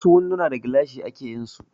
Wasu winduna da gilashi ake yinsu